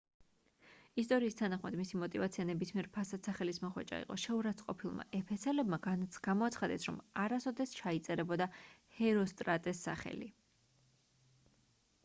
ისტორიის თანახმად მისი მოტივაცია ნებისმიერ ფასად სახელის მოხვეჭა იყო შეურაცხმყოფილმა ეფესელებმა გამოაცხადეს რომ არასოდეს ჩაიწერებოდა ჰეროსტრატეს სახელი